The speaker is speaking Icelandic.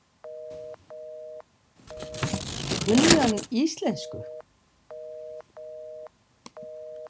Kunni hann íslensku?